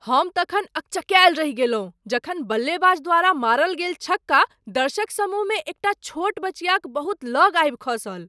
हम तखन अकचकायल रहि गेलहुँ जखन बल्लेबाज द्वारा मारल गेल छक्का दर्शक समूहमे एकटा छोट बचियाक बहुत लग आबि खसल।